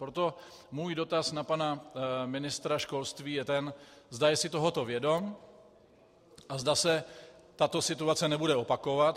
Proto můj dotaz na pana ministra školství je ten, zda si je tohoto vědom a zda se tato situace nebude opakovat.